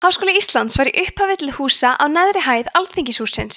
háskóli íslands var í upphafi til húsa á neðri hæð alþingishússins